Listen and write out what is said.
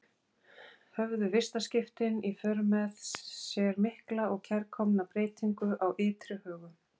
Höfðu vistaskiptin í för með sér mikla og kærkomna breytingu á ytri högum.